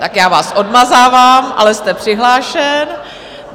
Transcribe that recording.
Tak já vás odmazávám, ale jste přihlášen.